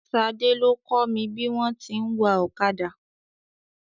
Ṣadé ló kọ́ mi bí wọn ti ń wa ọ̀kadà.